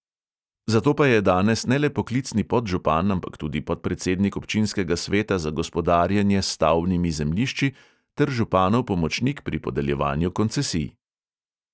Zato pa je danes ne le poklicni podžupan, ampak tudi podpredsednik občinskega sveta za gospodarjenje s stavbnimi zemljišči ter županov pomočnik pri podeljevanju koncesij.